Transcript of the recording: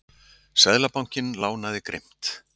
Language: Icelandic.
Seðlabankinn lánaði grimmt